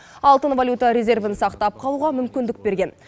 алтын валюта резервін сақтап қалуға мүмкіндік берген